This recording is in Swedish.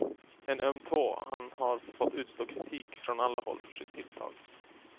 En öm tå, han har fått utstå kritik från alla håll för sitt tilltag.